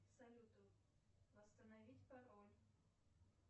салют восстановить пароль